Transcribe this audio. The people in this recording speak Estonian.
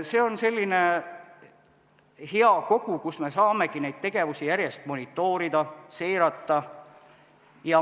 See on selline hea kogu, kus me saamegi neid tegevusi järjest monitoorida, seirata.